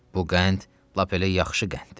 Bu qənd lap elə yaxşı qənddir.